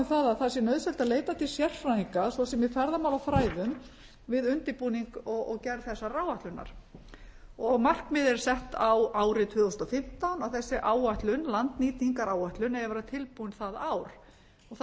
það að það sé nauðsynlegt að leita til sérfræðinga svo sem í ferðamálafræðum við undirbúning og gerð þessarar áætlunar markmiðið er sett á árið tvö þúsund og fimmtán að þessi áætlun landnýtingaráætlun eigi að vera tilbúin það ár það